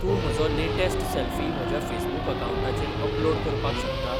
तूं म्हजो latest selfie म्हज्या फेसबूकअकाऊंटाचेर अपलोड करपाक शकता?